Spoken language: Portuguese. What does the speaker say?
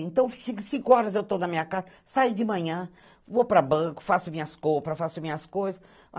Então, cinco horas eu tô na minha casa, saio de manhã, vou pra banco, faço minhas compras, faço minhas coisas.